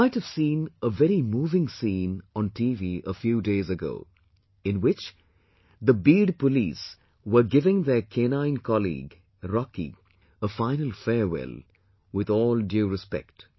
You might have seen a very moving scene on TV a few days ago, in which the Beed Police were giving their canine colleague Rocky a final farewell with all due respect